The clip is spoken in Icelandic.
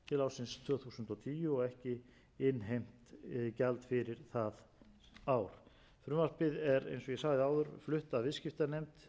ársins tvö þúsund og tíu og ekki innheimt gjald fyrir það ár frumvarpið er eins og ég sagði áður flutt af viðskiptanefnd